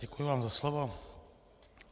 Děkuju vám za slovo.